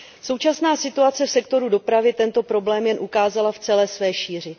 Současná situace v sektoru dopravy tento problém jen ukázala v celé své šíři.